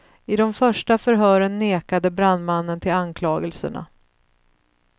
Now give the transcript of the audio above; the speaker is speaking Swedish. I de första förhören nekade brandmannen till anklagelserna.